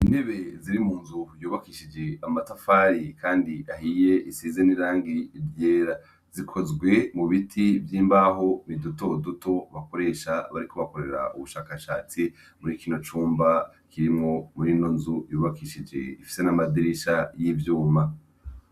Intebe ziri mu nzu yubakishije amatafari, kandi ahiye isizeneirangi iryera zikozwe mu biti vy'imbaho ni duto duto bakoresha bari kubakorera ubushakashatsi muri kino cumba kirimwo muri no nzu yubakishije ifise n'amadirisha y'ivyuma.